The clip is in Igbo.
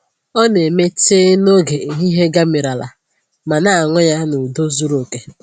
Ọ na-eme tii noge ehihie gamirila ma na-aṅụ ya n’udo zuru oke